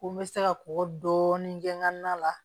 Ko n bɛ se ka kɔkɔ dɔɔnin kɛ n ka na la